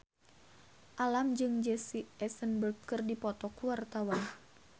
Alam jeung Jesse Eisenberg keur dipoto ku wartawan